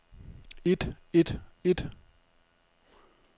et et et